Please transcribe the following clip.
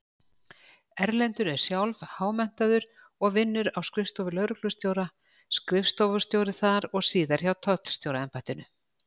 Erlendur er sjálf-há-menntaður og vinnur á skrifstofu lögreglustjóra, skrifstofustjóri þar og síðar hjá Tollstjóraembættinu.